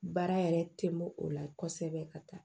Baara yɛrɛ tɛ bɔ o la kosɛbɛ ka taa